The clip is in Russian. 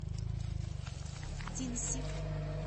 динси